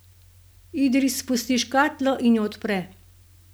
Idris spusti škatlo in jo odpre.